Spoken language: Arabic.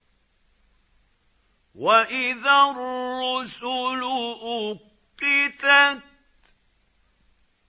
وَإِذَا الرُّسُلُ أُقِّتَتْ